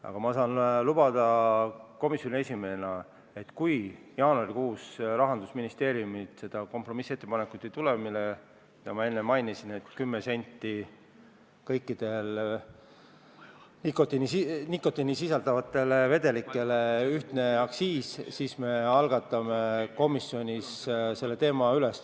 Aga ma saan komisjoni esimehena lubada, et kui jaanuarikuus Rahandusministeeriumilt kompromissettepanekut ei tule – seda, mida ma enne mainisin, et kõikidele nikotiini sisaldavatele vedelikele kehtestatakse ühtne aktsiis 10 senti –, siis me võtame komisjonis selle teema üles.